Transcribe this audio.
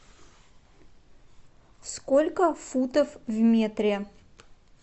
сколько футов в метре